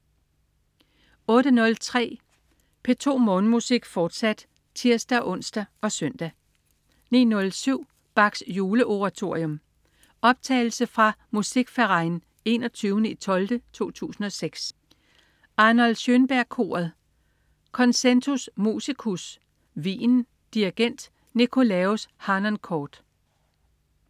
08.03 P2 Morgenmusik, fortsat (tirs-ons og søn) 09.07 Bachs Juleoratorium. Optagelse fra Musikverein 31.12.2006. Arnold Schönberg Koret. Concentus Musicus, Wien. Dirigent: Nikolaus Harnoncourt